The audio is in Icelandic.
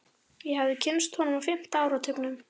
Ég hafði kynnst honum á fimmta áratugnum.